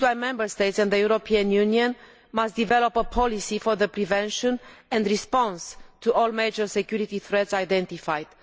This is why Member States and the European Union must develop a policy for the prevention of and response to all major security threats identified.